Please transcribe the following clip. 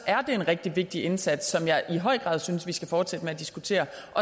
er det en rigtig vigtig indsats som jeg i høj grad synes jeg vi skal fortsætte med at diskutere